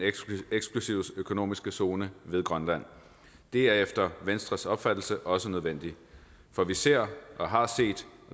eksklusive økonomiske zone ved grønland det er efter venstres opfattelse også nødvendigt for vi ser og har set